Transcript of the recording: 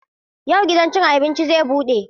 Yau gidan cin abinci zai bude?